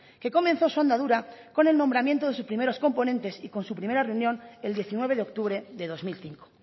que comenzó su andadura con el nombramiento de sus primeros componentes y con su primera reunión el diecinueve de octubre de dos mil cinco